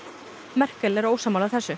Merkel er ósammála þessu